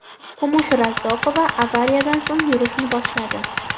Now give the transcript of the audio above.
Kumush Razzoqova avariyadan so‘ng yurishni boshladi.